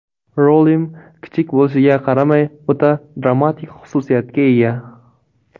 Rolim kichik bo‘lishiga qaramay, o‘ta dramatik xususiyatga ega.